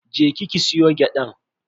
Je ki ki soya gyadan.